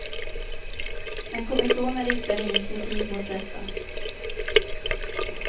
Men kommissionen riktar ingen kritik mot detta.